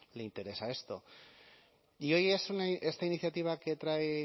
le interesa esto y hoy esta iniciativa que trae